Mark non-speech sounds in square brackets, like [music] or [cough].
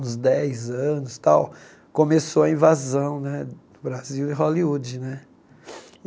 uns dez anos tal, começou a invasão né do Brasil em Hollywood né. [sniffs]